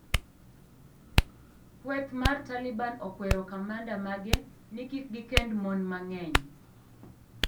Kweth mar Taliban okwero kamanda mage ni kik gikend mon mang'eny.